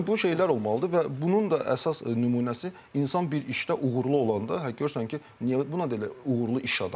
Yəni bu şeylər olmalıdır və bunun da əsas nümunəsi insan bir işdə uğurlu olanda, görürsən ki, bu da elə uğurlu iş adamı.